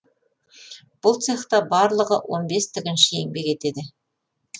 бұл цехта барлығы он бес тігінші еңбек етеді